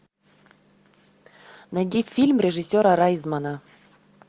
найди фильм режиссера райзмана